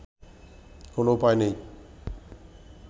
কোন উপায় নেই